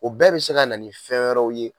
O bɛɛ bɛ se ka na ni fɛn wɛrɛw ye